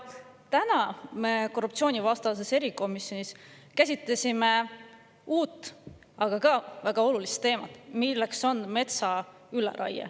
Täna me korruptsioonivastases erikomisjonis käsitlesime uut, aga ka väga olulist teemat, milleks on metsa üleraie.